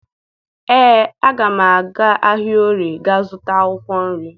Ee, aga m aga ahịa Orie gaa zụta akwụkwọ nri